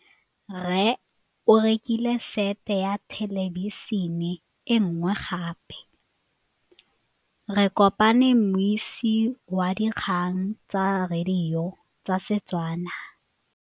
Rre o rekile sete ya thêlêbišênê e nngwe gape. Ke kopane mmuisi w dikgang tsa radio tsa Setswana.